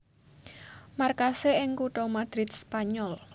Markasé ing kutha Madrid Spanyol